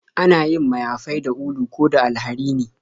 Ana yin mayafai da ulu ko da alharini